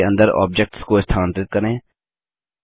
समूह के अंदर ऑब्जेक्ट्स को स्थानांतरित करें